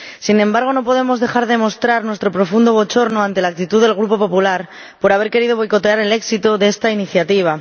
Sin embargo, no podemos dejar de mostrar nuestro profundo bochorno ante la actitud del Grupo del PPE por haber querido boicotear el éxito de esta iniciativa.